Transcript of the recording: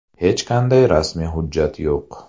Hech qanday rasmiy hujjat yo‘q.